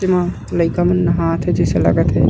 इहा लइका मन नहात हे जैसे लागत हे।